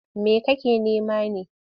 Me kake nema ne?